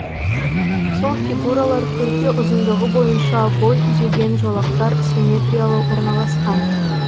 сол фигуралар көрпе ұзындығы бойынша бой түзеген жолақтар симметриалы орналасқан